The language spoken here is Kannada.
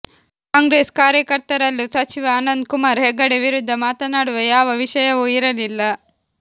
ಕಾಂಗ್ರೆಸ್ ಕಾರ್ಯಕರ್ತರಲ್ಲೂ ಸಚಿವ ಅನಂತ್ ಕುಮಾರ್ ಹೆಗಡೆ ವಿರುದ್ಧ ಮಾತನಾಡುವ ಯಾವ ವಿಷಯವೂ ಇರಲಿಲ್ಲ